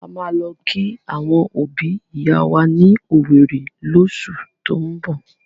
A máa lọ kí àwọn òbi ìyá wa ní owerri llósù tín bọ̀.